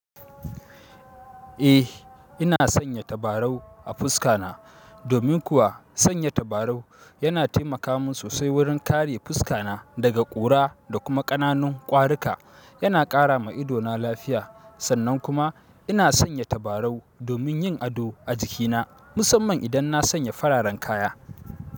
Eh, ina sanya tabarau a fuska na domin kuwa sanya tabarau yana taimaka min sosai wurin kare fuska na daga ƙura da kuma ƙananun ƙwarika. Yana ƙara ma ido na lafiya. Sannan kuma ina sanya tabarau domin yin ado a jikina, musamman idan na sanya fararen kaya.